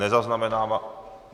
Nezaznamenávám.